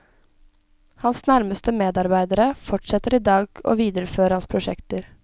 Hans nærmeste medarbeidere fortsetter i dag å videreføre hans prosjekter.